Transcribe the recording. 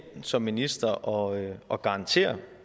ind som minister og og garanterer